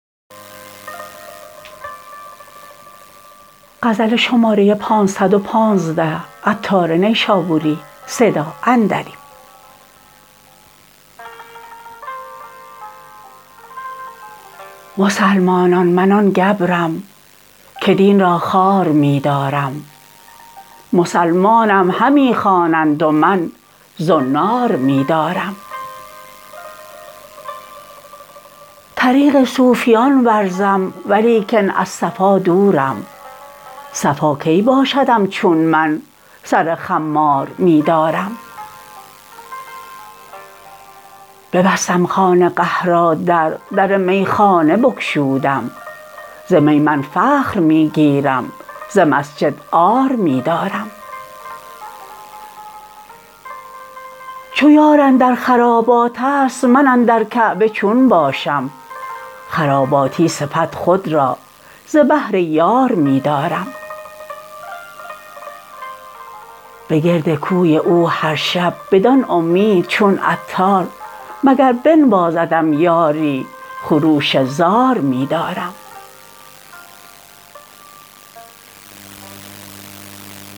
مسلمانان من آن گبرم که دین را خوار می دارم مسلمانم همی خوانند و من زنار می دارم طریق صوفیان ورزم ولیکن از صفا دورم صفا کی باشدم چون من سر خمار می دارم ببستم خانقه را در در میخانه بگشودم ز می من فخر می گیرم ز مسجد عار می دارم چو یار اندر خرابات است من اندر کعبه چون باشم خراباتی صفت خود را ز بهر یار می دارم به گرد کوی او هر شب بدان امید چون عطار مگر بنوازدم یاری خروش زار می دارم